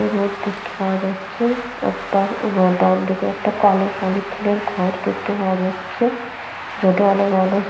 Road দেখতে পাওয়া যাচ্ছেরোড -টার ডান দিকে একটা কালো পলিথিনের ঘর দেখতে পাওয়া যাচ্ছে রোড - এ অনেক মানুষ --।